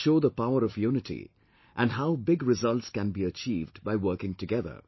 Which show the power of unity, and how big results can be achieved by working together